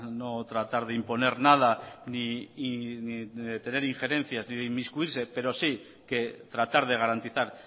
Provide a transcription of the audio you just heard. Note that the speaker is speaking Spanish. no tratar de imponer nada ni de tener injerencias ni de inmiscuirse pero sí que tratar de garantizar